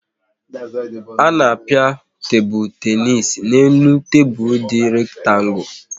A na-a pịa tebụl tenis n' elu tebụl dị rektangu